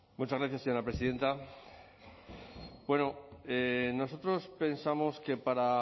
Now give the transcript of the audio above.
muchas gracias señora presidenta bueno nosotros pensamos que para